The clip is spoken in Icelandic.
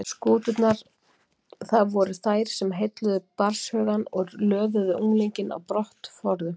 Skúturnar, það voru þær sem heilluðu barnshugann og löðuðu unglinginn á brott forðum